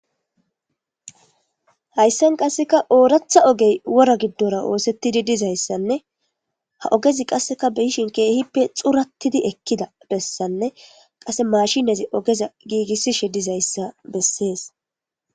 Hayisan qasseka ooratha ogey wora giddora oosettidi dizayssanne ha ogezi qasseka biyishin keehippe xurattidi ekkida bessanne qase mashinazi ogeza giigissishe dizayssa bessees